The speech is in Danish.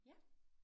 Ja